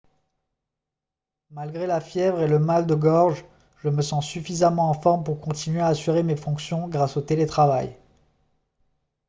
« malgré la fièvre et le mal de gorge je me sens suffisamment en forme pour continuer à assurer mes fonctions grâce au télétravail